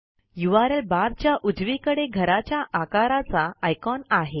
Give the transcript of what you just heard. URL barच्या उजवीकडे घराच्या आकाराचा आयकॉन आहे